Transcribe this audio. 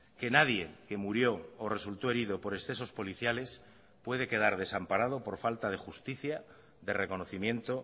que nadie que murió o resultó herido por excesos policiales puede quedar desamparado por falta de justicia de reconocimiento